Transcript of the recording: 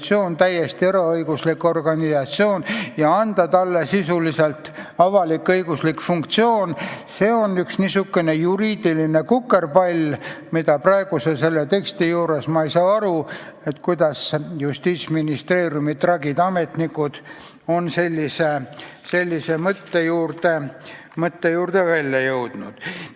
See on täiesti eraõiguslik organisatsioon, ja anda talle sisuliselt avalik-õiguslik funktsioon – see on niisugune juriidiline kukerpall, et selle praeguse teksti puhul ma ei saa aru, kuidas Justiitsministeeriumi tragid ametnikud on sellise mõtte peale tulnud.